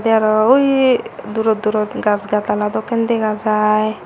te aro ui durot durot gach gatala dokke dega jai.